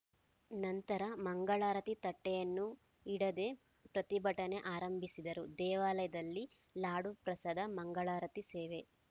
ನಂತರ ಮಂಗಳಾರತಿ ತಟ್ಟೆಯನ್ನು ಇಡದೆ ಪ್ರತಿಭಟನೆ ಆರಂಭಿಸಿದರು ದೇವಾಲಯದಲ್ಲಿ ಲಾಡು ಪ್ರಸಾದ ಮಂಗಳಾರತಿ ಸೇವೆ